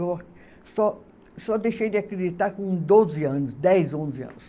Eu só, só deixei de acreditar com doze anos, dez, onze anos.